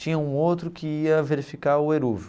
tinha um outro que ia verificar o eruv.